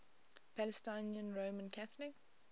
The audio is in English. palestinian roman catholic